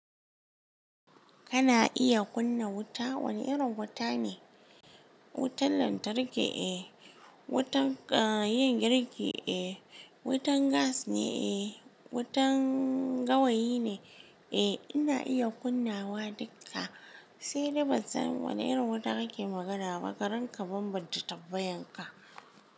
Kana iya kunna wuta? Wane irin wuta ne? Wutan lantarki eh, wutan, ah, yin girki eh, wutan gas ne eh, wutan gawayi ne eh. Ina iya kunnawa dukka. Sai dai ban san wane irin wuta kake magana ba. Karan ka banbance tabbayan ka.